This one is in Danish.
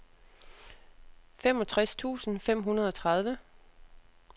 femogtres tusind fem hundrede og tredive